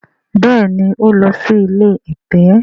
béèni o n ló sì ilé ẹ̀tẹ̀.